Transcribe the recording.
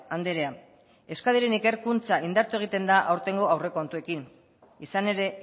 andrea euskadiren ikerkuntza indartu egiten da aurtengo aurrekontuekin izan ere